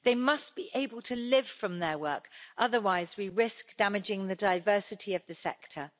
They must be able to live from their work, otherwise we risk damaging the diversity of the sector.